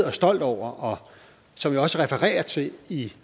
og stolt over og som jeg også refererer til i